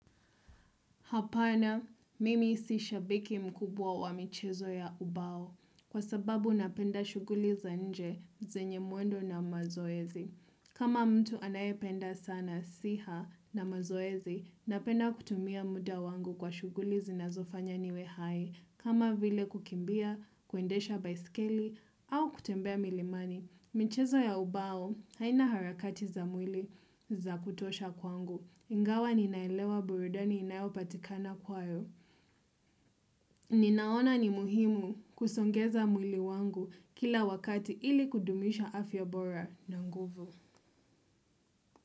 Hapana, mimi si shabiki mkubwa wa michezo ya ubao, kwa sababu napenda shuguli za inje, zenye mwendo na mazoezi. Kama mtu anaye penda sana siha na mazoezi, napenda kutumia muda wangu kwa shuguli zinazofanya niwe hai, kama vile kukimbia, kuendesha baisikeli, au kutembea milimani. Michezo ya ubao aina harakati za mwili za kutosha kwangu. Ingawa ninaelewa burudani inayopatikana kwayo. Ninaona ni muhimu kusongeza mwili wangu kila wakati ili kudumisha afya bora na nguvu.